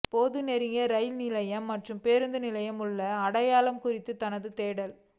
போது நெருங்கிய ரயில் நிலையம் மற்றும் பேருந்து நிலையம் உள்ள ஒரு அடையாள குறிப்பு தனது தேடல்